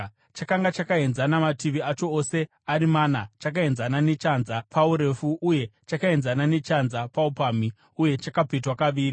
Chakanga chakaenzana mativi acho ose ari mana, chakaenzana nechanza paurefu uye chakaenzana nechanza paupamhi uye chakapetwa kaviri.